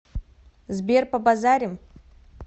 сбер побазарим